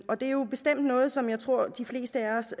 er jo bestemt noget som jeg tror at de fleste af os